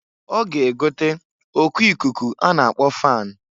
Ọ ga egote oku ikuku a na-akpọ fan.